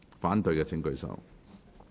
反對的請舉手。